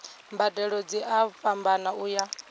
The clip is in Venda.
mbadelo dzi a fhambana uya